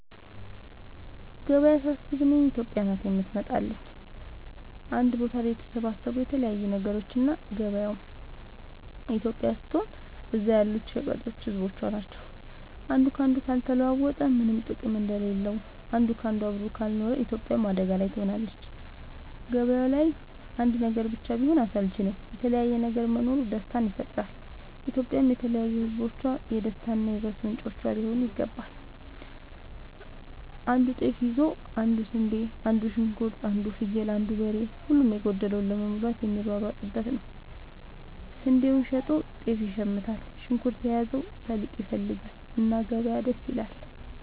ገበያ ሳስብ እኔ ኢትዮጵያ ናት የምትመጣለኝ አንድ ቦታ ላይ የተሰባሰቡ የተለያዩ ነገሮች እና ገበያው ኢትዮጵያ ስትሆን እዛ ያሉት ሸቀጦች ህዝቦቿ ናቸው። አንዱ ካንዱ ካልተለዋወጠ ምነም ጥቅም እንደሌለው አንድ ካንዱ አብሮ ካልኖረ ኢትዮጵያም አደጋ ላይ ትሆናለች። ገባያው ላይ አንድ ነገር ብቻ ቢሆን አስልቺ ነው የተለያየ ነገር መኖሩ ደስታን ይፈጥራል። ኢትዮጵያም የተለያዩ ህዝቦቿ የደስታ እና የ ውበት ምንጯ ሊሆን ይገባል። አንዱ ጤፍ ይዞ አንዱ ስንዴ አንዱ ሽንኩርት አንዱ ፍየል አንዱ በሬ ሁሉም የጎደለውን ለመሙላት የሚሯሯጡበት ነው። ስንዴውን ሸጦ ጤፍ ይሽምታል። ሽንኩርት የያዘው ሰሊጥ ይፈልጋል። እና ገበያ ደስ ይላል።